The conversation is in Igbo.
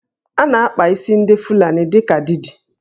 A na-akpa isi ndị Fulani dị ka Didi